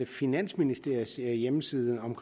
finansministeriets hjemmeside om